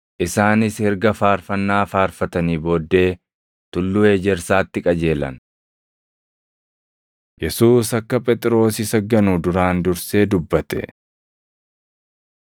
Isaanis erga faarfannaa faarfatanii booddee Tulluu Ejersaatti qajeelan. Yesuus Akka Phexros Isa Ganu Duraan Dursee Dubbate 14:27‑31 kwf – Mat 26:31‑35